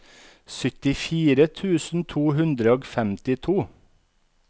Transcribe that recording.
syttifire tusen to hundre og femtito